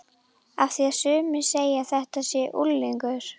Af því að sumir segja að þetta sé unglingur.